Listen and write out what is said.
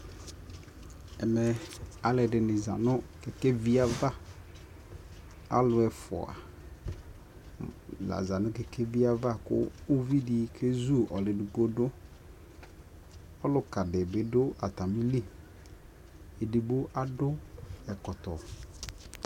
ɛmɛ alʋɛdini zanʋ kɛkɛvi aɣa ,alʋ ɛƒʋa la za nʋ kɛkɛviɛ aɣa kʋ ʋvidi kɛzʋ alʋ ɛdigbɔ dʋ, ɔlʋka dibi dʋ atamili, ɛdigbɔ adʋ ɛkɔtɔ